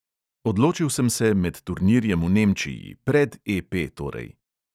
Odločil sem se med turnirjem v nemčiji, pred EP torej.